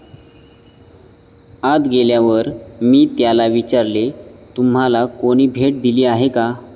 आत गेल्यावर, मी त्याला विचारले, तुम्हाला कोणी भेट दिली आहे का?